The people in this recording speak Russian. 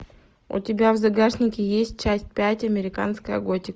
у тебя в загашнике есть часть пять американская готика